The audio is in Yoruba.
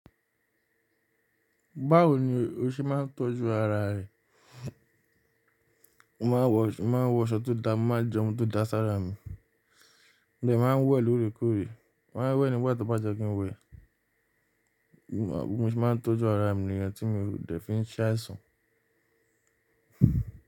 Báwo ni o se máa ń tọ́jú ara rẹ? Mo ma wọ, mo ma wọ aṣọ tó dá, mo ma jẹun tó da sí ara mi, mo dẹ̀ máa wẹ̀ lóore kóòrè, màá wẹ̀ nígbà tío bàyẹ́ kí n wẹ̀. Mo se máa ń tójú ara mi ní yen tí mo dẹ̀ fi ń ṣẹ̀ aisan.